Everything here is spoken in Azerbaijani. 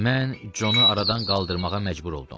Mən Conu aradan qaldırmağa məcbur oldum.